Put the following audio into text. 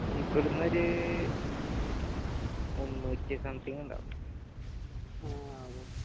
ഇവിടൊന്നൊരു മുന്നൂറ്റി something ഇണ്ടാവും ആ